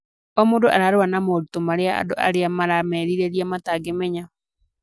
O mũndũ ararũa na moritũ arĩa andũ arĩa maramerirĩrĩa matangĩmenya.